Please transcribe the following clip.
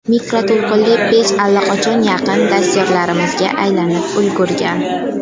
Mikroto‘lqinli pech allaqachon yaqin dastyorimizga aylanib ulgurgan.